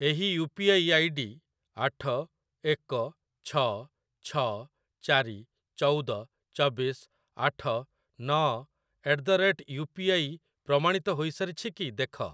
ଏହି U P I ID ଆଠ ଏକ ଛଅ ଛଅ ଚାରି ଚଉଦ ଚବିଶ ଆଠ ନଅ at the rate U P I ପ୍ରମାଣିତ ହୋଇସାରିଛି କି ଦେଖ।